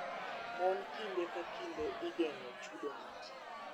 Mon kinde ka kinde igeng�o chudo matin.